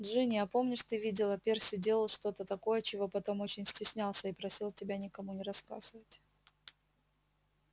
джинни а помнишь ты видела перси делал что-то такое чего потом очень стеснялся и просил тебя никому не рассказывать